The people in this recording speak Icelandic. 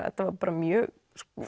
þetta var mjög